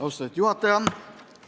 Austatud juhataja!